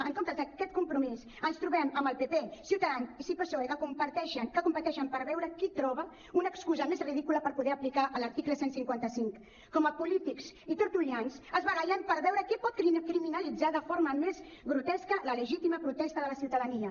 en comptes d’aquest compromís ens trobem amb el pp ciutadans i psoe que competeixen per veure qui troba una excusa més ridícula per poder aplicar l’article cent i cinquanta cinc com polítics i tertulians es barallen per veure qui pot criminalitzar de forma més grotesca la legítima protesta de la ciutadania